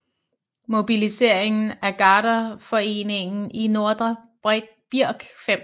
Mobiliseringen af Garderforeningen i Nordre Birk 5